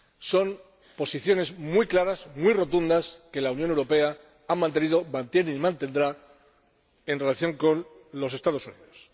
Son posiciones muy claras, muy rotundas, que la Unión Europea ha mantenido, mantiene y mantendrá en relación con los Estados Unidos.